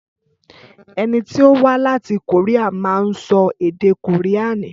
Ẹni tí o wá láti Kòríà ma ń sọ èdè kòríànì